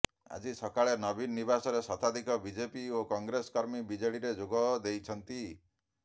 ଆଜି ସକାଳେ ନବୀନ ନିବାସରେ ଶତାଧିକ ବିଜେପି ଓ କଂଗ୍ରେସ କର୍ମୀ ବିଜେଡିରେ ଯୋଗଦେଇଛନ୍ତି